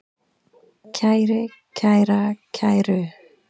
kæri, kæra, kæru